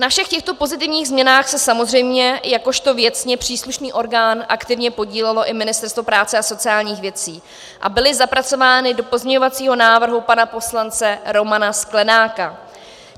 Na všech těchto pozitivních změnách se samozřejmě jakožto věcně příslušný orgán aktivně podílelo i Ministerstvo práce a sociálních věcí a byly zapracovány do pozměňovacího návrhu pana poslance Romana Sklenáka.